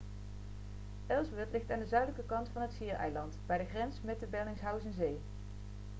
ellsworth ligt aan de zuidelijke kant van het schiereiland bij de grens met de bellingshausenzee